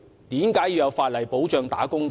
為何要有法例保障"打工仔"？